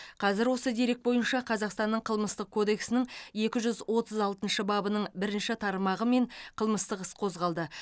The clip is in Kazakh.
қазір осы дерек бойынша қазақстанның қылмыстық кодексінің екі жүз отыз алтыншы бабының бірінші тармағымен қылмыстық іс қозғалды